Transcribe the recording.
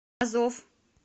азов